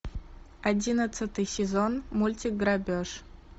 одиннадцатый сезон мультик грабеж